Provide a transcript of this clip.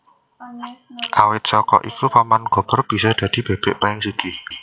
Awit saka iku Paman Gober bisa dadi bebek paling sugih